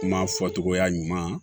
Kuma fɔcogoya ɲuman